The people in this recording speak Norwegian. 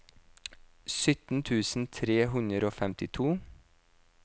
sytten tusen tre hundre og femtito